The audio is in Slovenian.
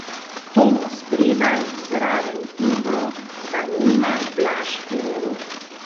Tomo spredaj, zraven Ibro, za njima Blaž in Rok.